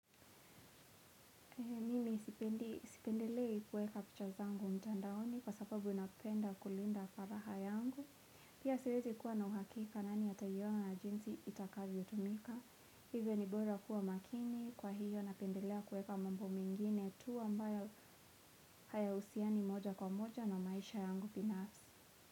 Mimi sipendelei kuweka picha zangu mtandaoni kwa sababu napenda kulinda faragha yangu. Pia siwezi kuwa na uhakika nani ataiona na jinsi itakavyotumika. Hivyo ni bora kuwa makini kwa hiyo napendelea kuweka mambo mengine tu ambayo hayahusiani moja kwa moja na maisha yangu binafsi.